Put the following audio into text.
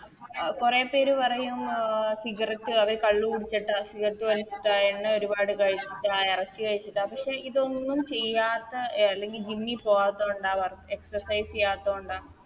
കൊറേ പേര് പറയും അഹ് Cigarette അതെ കള്ള് കുടിച്ചിട്ട Cigarette വലിച്ചിട്ട എണ്ണ ഒരുപാട് കഴിച്ചിട്ട ആ എറച്ചി കഴിച്ചിട്ട പക്ഷെ ഇതൊന്നും ചെയ്യാത്ത എ അല്ലെങ്കി Gym പോവാത്ത കൊണ്ട Exercise ചെയ്യാത്തൊണ്ട